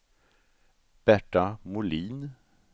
Berta Molin